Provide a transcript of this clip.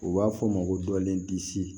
U b'a fɔ o ma ko dɔlen disi